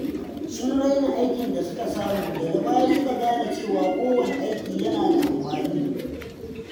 Sun raina aikin da suka samu, daga baya suka gane cewa kowane aiki yana da amfani.